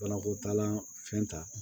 Banako taalan fɛn ta